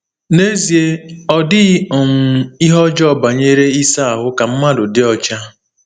N'ezie, ọ dịghị um ihe ọjọọ banyere ịsa ahụ ka mmadụ dị ọcha.